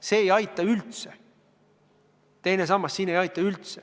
See teine sammas siin ei aita üldse.